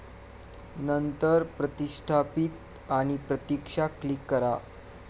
नंतर प्रतिष्ठापीत आणि प्रतीक्षा क्लिक करा.